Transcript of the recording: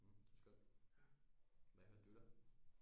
Mh det var skønt hvad hørte du da